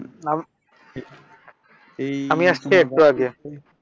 আমি আসছি একটু আগে।